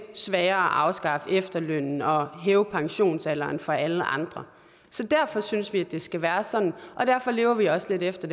sværere at afskaffe efterlønnen og hæve pensionsalderen for alle andre så derfor synes vi det skal være sådan og derfor lever vi også lidt efter